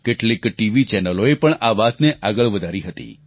કેટલીક ટીવી ચેનલોએ પણ આ વાતને આગળ વધારી હતી